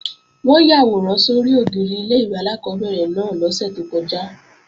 Wọ́n yàwòrán sórí ògiri ilé-ìwé alákọ́bẹ̀rẹ̀ náà lọ́sẹ̀ tó kọjá